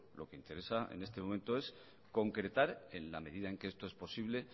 lo que interesa en este momento es concretar en la medida en que esto es posible